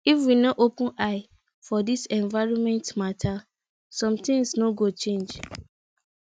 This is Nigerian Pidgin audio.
if we no open eye for dis environment mata sometins no go change